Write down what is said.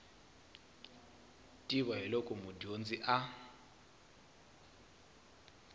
tiva hi loko mudyondzi a